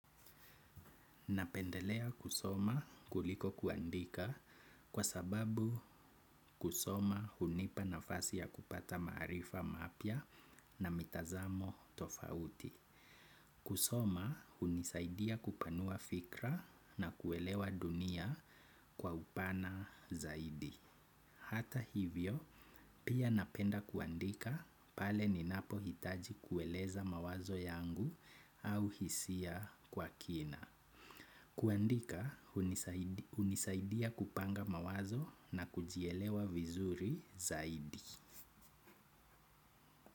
Napendelea kusoma kuliko kuandika kwa sababu kusoma hunipa nafasi ya kupata maarifa mapya na mitazamo tofauti. Kusoma hunisaidia kupanua fikra na kuelewa dunia kwa upana zaidi. Hata hivyo, pia napenda kuandika pale ninapohitaji kueleza mawazo yangu au hisia kwa kina. Kuandika hunisaidia kupanga mawazo na kujielewa vizuri zaidi.